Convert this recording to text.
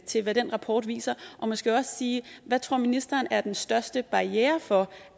til hvad den rapport viser og måske også sige hvad ministeren tror er den største barriere for